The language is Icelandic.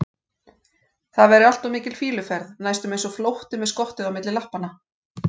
það væri allt of mikil fýluferð, næstum eins og flótti með skottið á milli lappanna.